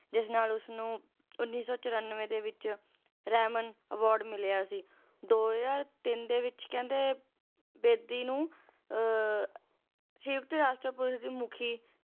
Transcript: ਜਿਸ ਨਾਲ ਉਸਨੂੰ ਉੱਨੀ ਸੌ ਚੁਰਾਨਵੇਂ ਦੇ ਵਿੱਚ ਰੈਮਨ ਅਵਾਰਡ ਮਿਲਿਆ ਸੀ ਦੋ ਹਜ਼ਾਰ ਤਿੰਨ ਦੇ ਵਿੱਚ ਕਹਿੰਦੇ ਬੇਦੀ ਨੂੰ ਅਹ ਸੰਯੁਕਤ ਰਾਸ਼ਟਰਪਤੀ ਦੇ ਮੁੱਖੀ